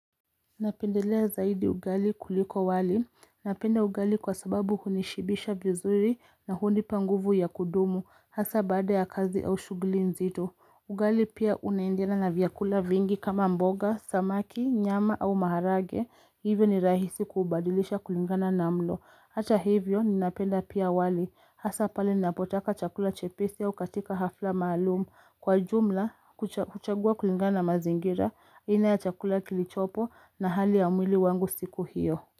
Napendelea zaidi ugali kuliko wali. Napenda ugali kwa sababu hunishibisha vizuri na hunipa nguvu ya kudumu. Hasaa bada ya kazi au shughuli nzito. Ugali pia unaendeana na vyakula vingi kama mboga, samaki, nyama au maharage. Hivyo ni rahisi kubadilisha kulingana na mlo. Hata hivyo ninapenda pia wali. Hasaa pale ninapotaka chakula chepesi au katika hafla maalum. Kwa jumla, kuchagua kulingana na mazingira, aina ya chakula kilichopo na hali ya mwili wangu siku hiyo.